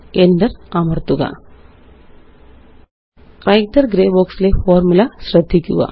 Enter അമര്ത്തുക writer grey box ലെ formula ശ്രദ്ധിക്കുക